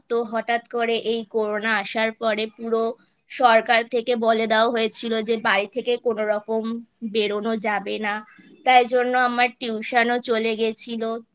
তো হঠাৎ করে এই Corona আসার পরে পুরো সরকার থেকে বলে দেওয়া হয়েছিল যে বাড়ি থেকে কোনোরকম বেরোনো যাবে না তাই জন্য আমার Tution ও চলে গেছিলো